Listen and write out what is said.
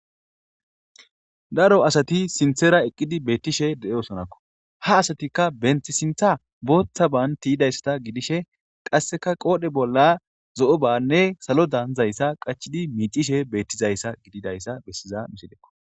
Daro asati sinthera eqqidi beettishe de7osonakko ha asatikka benthi sintha booththa baan tiyidayssata gidishe qasseka qoodhe bolla zo7o banne salo daanzayssa qachidi miicishe beettizayssa gididayssa bessiza nusidekko